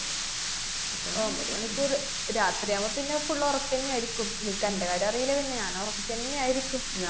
ഒമ്പത് മണിക്കൂറ് രാത്രിയാവുമ്പ പിന്നെ full ഒറക്കന്നെയാരിക്കും. നിക്കന്‍റെ കാര്യമറീല്ല, പിന്നെ ഞാന്‍ ഉറക്കന്നെയാരിക്കും.